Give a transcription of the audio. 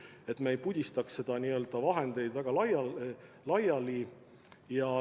Nii et me üldiselt ei pudistaks seda raha väga laiali.